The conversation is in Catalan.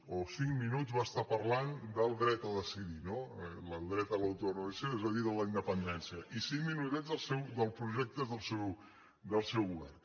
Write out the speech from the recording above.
o cinc minuts va estar parlant del dret a decidir no del dret a l’autodeterminació és a dir de la inde·pendència i cinc minutets dels projectes del seu go·vern